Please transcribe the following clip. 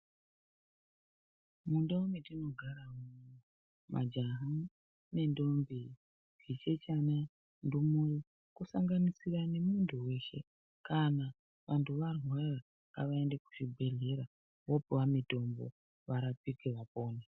Mundau dzatinogara ,majaha ,ntombi zvichechane uye ndumure kusanganisira muntu weshe kana vantu varwara ngavaende kuzvibhedhlera voopiwa mitombo varapike vapore.